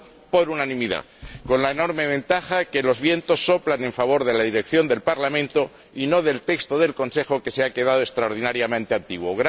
por unanimidad, con la enorme ventaja de que los vientos soplan a favor de la dirección del Parlamento y no del texto del Consejo, que se ha quedado extraordinariamente antiguo.